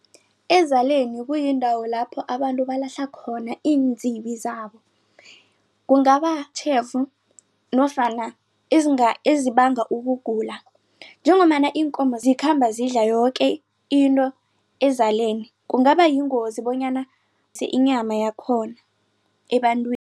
Ezaleni kuyindawo lapho abantu balahlakhona iinzibi zabo kungabatjhefu nofana ezibanga ukugula. Njengombana iinkomo zikhamba zidla yoke into ezaleni kungabayingozi bonyana inyama yakhona